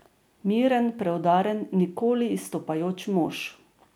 Miren, preudaren, nikoli izstopajoč mož.